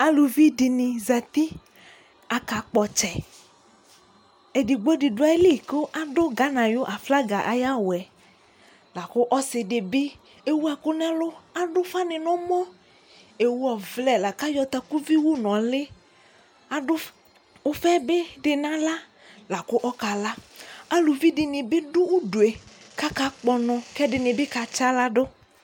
Aluvi dini zatiAka kpɔ tsɛƐdigbo di du ayi li ku adu Gana yu aflaga aya wuɛlaku ɔsi di bi akɔ ɛku nɛluAdu fa ni nɛ mɔƐwu ɔvlɛ la ka yɔ takuvi wu nɔ liAdu ufa bi du na ɣla La ɔka laAluvi bi du uduɛ kaka kpɔ nɔ kɛdi ni bi ka tsaɣla du